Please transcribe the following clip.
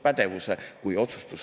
Aitäh!